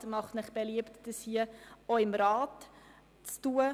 Der Regierungsrat macht Ihnen beliebt, dies auch seitens des Rats zu tun.